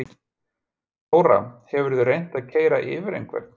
Þóra: Hefurðu reynt að keyra yfir einhvern?